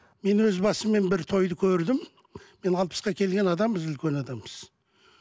мен өз басым мен бір тойды көрдім мен алпысқа келген адамбыз үлкен адамбыз